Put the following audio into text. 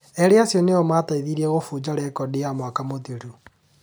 Erĩ acio nĩo mateithirie gũbunja rekodi ya mwaka mũthiru